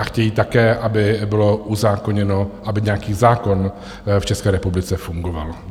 A chtějí také, aby bylo uzákoněno, aby nějaký zákon v České republice fungoval.